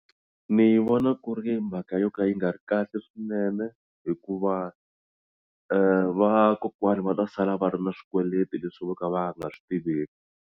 Ni vona ku ri mhaka yo ka yi nga ri kahle swinene hikuva vakokwana va ta sala va ri na swikweleti leswi vo ka va nga swi tiveki.